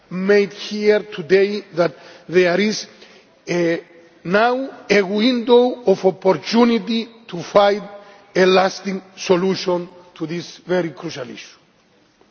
made here today that there is now a window of opportunity to find a lasting solution to this very crucial issue.